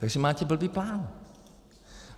Takže máte blbý plán.